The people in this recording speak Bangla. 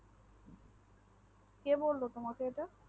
কে বললো তোমাকে এটা